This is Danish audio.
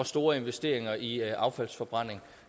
store investeringer i affaldsforbrænding